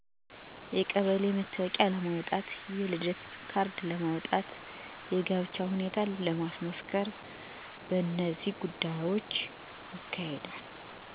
1. የቀበሌ መታወቂያ ለማውጣት 2. የልደት ካርድ ለማውጣት 3. የጋብቻ ሁኔታን ለማስመስከር በነዚህ ጉዳዮች ይሄዳል።